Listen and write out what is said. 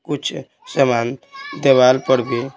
कुछ सामान देवाल पर भी--